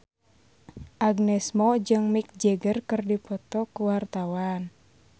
Agnes Mo jeung Mick Jagger keur dipoto ku wartawan